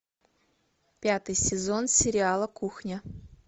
пятый сезон сериала кухня